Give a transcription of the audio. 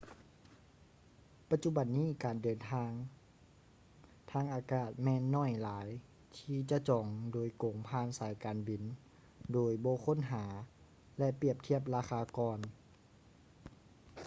ປັດຈຸບັນນີ້ການເດີນທາງທາງອາກາດແມ່ນໜ້ອຍຫຼາຍທີ່ຈະຈອງໂດຍກົງຜ່ານສາຍການບິນໂດຍບໍ່ຄົ້ນຫາ ແລະ ປຽບທຽບລາຄາກ່ອນ